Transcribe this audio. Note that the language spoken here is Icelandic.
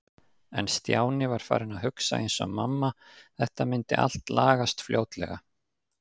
En Stjáni var farinn að hugsa eins og mamma- þetta myndi allt lagast fljótlega.